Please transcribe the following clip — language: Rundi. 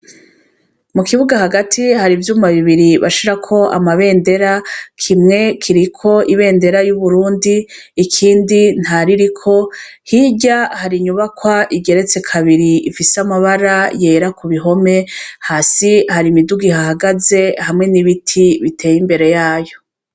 Mu kibuga hagati hari ivyuma bibiri bashirako amabendera kimwe kiriko ibendera y'uburundi ikindi nta ririko hirya hari inyubakwa igeretse kabiri ifise amabara yera ku bihome hasi hari imiduga ihahagaze hamwe n'ibiti biteye imbere yayo.